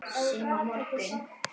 Sem á morgun.